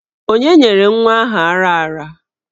Onye nyere nwa ahụ ara ara?